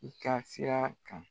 N ka sira kan